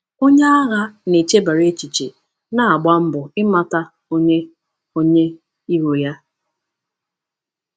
Onye agha na-echebara echiche na-agba mbọ ịmata onye onye iro ya.